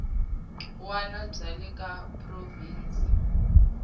wana bya le ka provhinsi